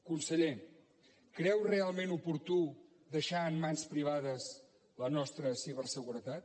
conseller creu realment oportú deixar en mans privades la nostra ciberseguretat